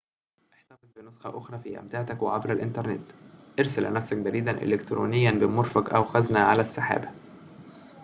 احتفظ بنسخة أخرى في أمتعتك وعبر الإنترنت أرسل لنفسك بريدًا إلكترونيًا بمرفق أو خزنه على السحابة"